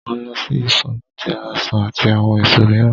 Mo lọ sí Ifọ̀ láti ra ọsàn àti àwọn èso mìíràn.